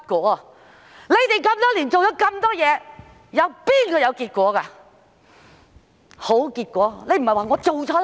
多年來，當局做了那麼多事，有哪件事是有結果、有好結果的呢？